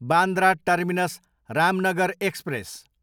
Bandra terminus, Ramnagar express